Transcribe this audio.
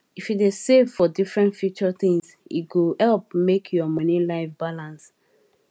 if you dey save for different future things e go help make your money life balance